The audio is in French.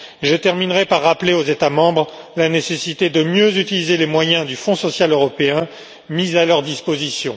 Je terminerai par rappeler aux États membres la nécessité de mieux utiliser les moyens du Fonds social européen mis à leur disposition.